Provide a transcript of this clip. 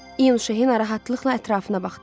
İyun Şehi narahatlıqla ətrafına baxdı.